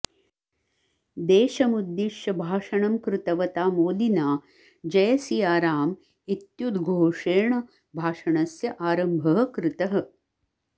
देशमुद्दिश्य भाषणं कृतवता मोदिना जय सिया राम इत्युद्घोषेण भाषणस्य आरम्भः कृतः